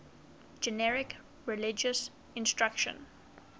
generic religious instruction